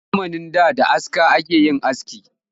A zamanin da da aska ake yin aski